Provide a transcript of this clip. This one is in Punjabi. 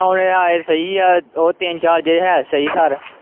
ਡਾਉਣ ਆਲੇ ਸਹੀ ਆ, ਉਹ ਤਿੰਨ ਚਾਰ ਜਿਹੜੇ ਹੈ ਸਹੀ ਸਾਰ।